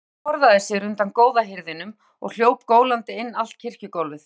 Stelpan forðaði sér undan góða hirðinum og hljóp gólandi inn allt kirkjugólfið.